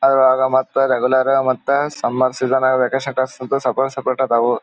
ಮತ್ತ ರೆಗ್ಯುಲರ್ ಆಗಿ ಮತ್ತೆ ಸಮ್ಮರ್ ಸೀಸನ್ ವಾಕೇಷನ್ ತಾಸ್ ಸಪರೇಟ್ ಸಪರೇಟ್ ಅದಾವು.